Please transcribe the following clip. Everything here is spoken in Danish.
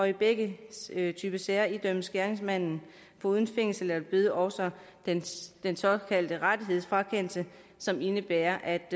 i begge typer sager idømmes gerningsmanden foruden fængsel eller bøde også den såkaldte rettighedsfrakendelse som indebærer at